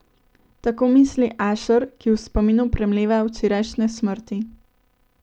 Tako misli Ašer, ki v spominu premleva včerajšnje smrti.